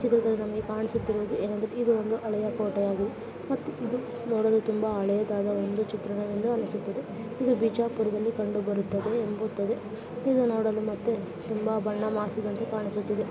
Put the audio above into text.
ಈ ಚಿತ್ರದಲ್ಲಿ ಕಾಣುತ್ತಿರುವುದು ಏನೆಂದರೆ ಇದು ಒಂದು ಹಳೆಯ ಕೋಟೆಯಾಗಿದೆ ಮತ್ತು ಇದು ನೋಡಲು ತುಂಬಾ ಹಳೆಯದಾದ ಚಿತ್ರಣ ಎಂದು ಅನಿಸುತ್ತಿದೆ. ಇದು ಬಿಜಾಪುರದಲ್ಲಿ ಕಂಡು ಬರುತ್ತದೆ ಇದು ನೋಡಲು ಮತ್ತು ತುಂಬಾ ಬಣ್ಣ ಮಾಡ್ಸಿರೋ ತರ ಕಾಣಿಸುತ್ತಿದೆ.